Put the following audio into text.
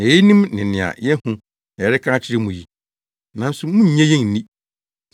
Nea yenim ne nea yɛahu na yɛreka akyerɛ mo yi, nanso munnye yɛn nni.